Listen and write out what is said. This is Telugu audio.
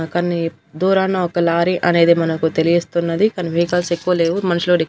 మనకన్ని దూరానా ఒక లారీ అనేది మనకు తెలియస్తున్నది కాని వెహికల్స్ ఎక్కువ లేవు మనసులూడ--